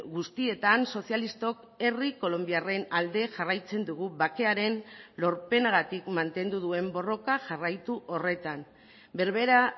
guztietan sozialistok herri kolonbiarren alde jarraitzen dugu bakearen lorpenagatik mantendu duen borroka jarraitu horretan berbera